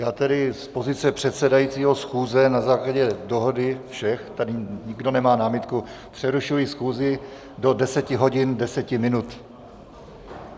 Já tedy z pozice předsedajícího schůze na základě dohody všech, tady nikdo nemá námitku, přerušuji schůzi do 10 hodin 10 minut.